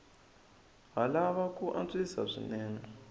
ha lava ku antswisiwa swinene